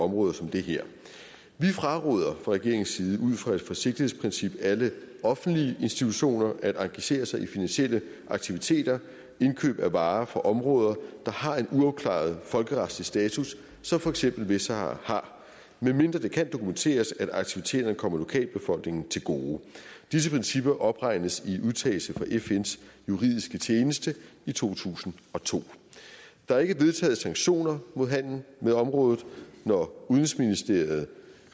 områder som det her vi fraråder fra regeringens side ud fra et forsigtighedsprincip alle offentlige institutioner at engagere sig i finansielle aktiviteter og indkøb af varer fra områder der har en uafklaret folkeretlig status som for eksempel vestsahara har medmindre det kan dokumenteres at aktiviteterne kommer lokalbefolkningen til gode disse principper opregnes i udtalelse fra fns juridiske tjeneste i to tusind og to der er ikke vedtaget sanktioner mod handel med området når udenrigsministeriet